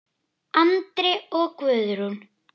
Andri og Guðrún.